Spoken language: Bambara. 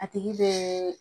A tigi bɛ